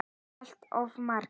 Allt of margir.